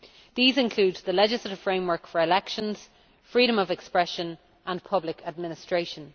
These included the legislative framework for elections, freedom of expression, and public administration.